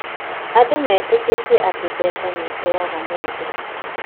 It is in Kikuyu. Andũ metĩkĩtie atĩ mbeca nĩ iteaga mũndũ